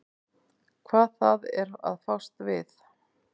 Hvað það er að fást við.